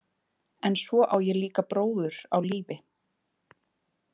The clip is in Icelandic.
En svo á ég líka bróður á lífi.